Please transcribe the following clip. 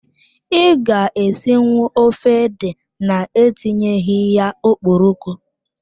I ga-esinwu ofe ede na etinyeghi ya okporoko?